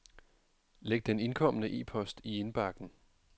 Læg den indkomne e-post i indbakken.